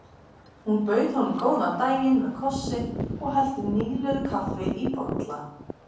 Hún bauð honum góðan daginn með kossi og hellti nýlöguðu kaffi í bolla.